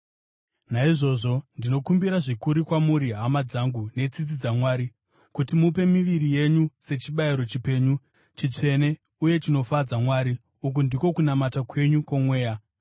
Naizvozvo, ndinokumbira zvikuru kwamuri, hama dzangu, netsitsi dzaMwari, kuti mupe miviri yenyu sechibayiro chipenyu, chitsvene uye chinofadza Mwari, uku ndiko kunamata kwenyu kwomweya.